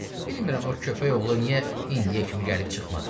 Bilmirəm o köpəyoğlu niyə indiyə kimi gəlib çıxmadı.